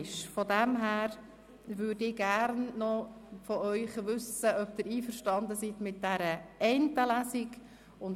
Daher möchte ich gerne von Ihnen wissen, ob Sie mit dieser einen Lesung einverstanden sind.